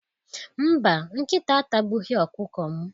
Mba, nkịta atagbughi ọkụkọ m.